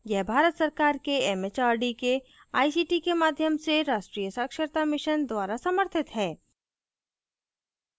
यह भारत सरकार के एमएचआरडी के आईसीटी के माध्यम से राष्ट्रीय साक्षरता mission द्वारा समर्थित है